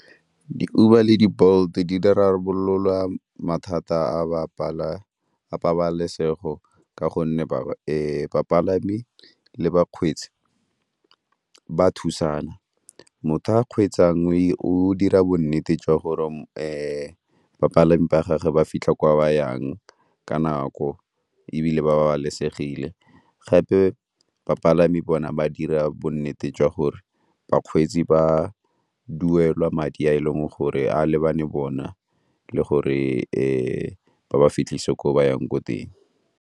Di-Uber le di-Bolt di rarabolola mathata a bapalami a pabalesego ka gonne bapalami le bakgweetsi ba thusana. Motho a kgweetsang o dira bonnete jwa gore bapalami ba gage ba fitlha ko ba yang ka nako ebile ba babalesegile, gape bapalami bona ba dira bonnete jwa gore bakgweetsi ba duela madi a e leng gore a lebane bona le gore ba ba fitlhise ko ba yang ko teng.